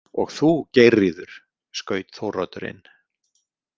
Og þú, Geirríður, skaut Þóroddur inn.